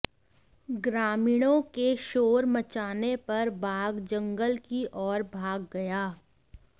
ग्रामीणाों के शोर मचाने पर बाघ जंगल की ओर भाग गया